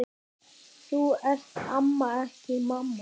Þú ert amma, ekki mamma.